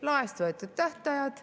Laest võetud tähtajad.